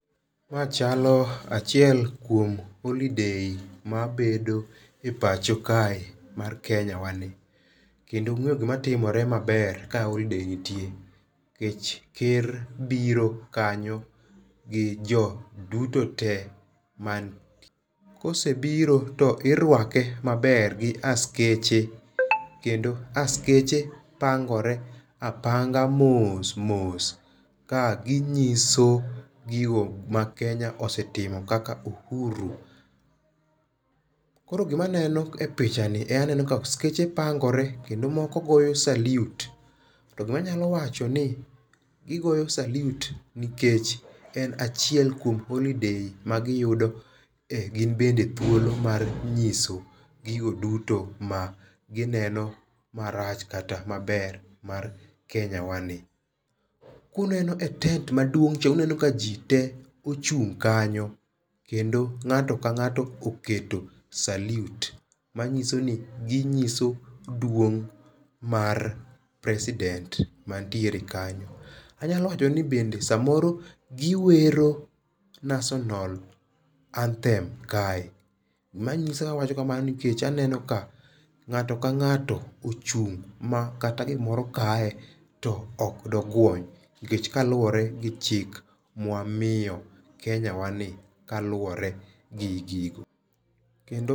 Ma chalo achiel kuom holiday mabedo e pacho kae, mar Kenya wa ni. Kendo ungéyo gima timore maber ka holiday nitie. Nikech ker biro kanyo, gi jo duto te man. Kosebiro to irwake maber, gi askeche. Kendo askeche pangore apanga mos mos, ka ginyiso gigo ma Kenya osetimo kaka uhuru. Koro, gima aneno e picha ni, aneno ka askeche pangore, kendo moko goyo salute. To gima anyalo wachoni, gigoyo salute nikech en achiel kuom holiday magiyudo e gin bende thuolo mar nyiso gigo duto ma gineno marach kata maber, mar Kenya wani. Kuneno e tent maduong' cha, uneno ka ji te ochung' kanyo, kendo ngáto ka ngáto oketo salute. Manyisoni, ginyiso duong' mar president man tiere kanyo. Anyalo wacho ni bende sa moro giwero National Anthem kae. Gimanyiso awacho kamano, nikech aneno ka ngáto ka ngáto ochung' ma kata gimoro kae to okdoguony. Nikech kaluwore gi chik mwamiyo Kenyawani, kaluwore gi gigo. Kendo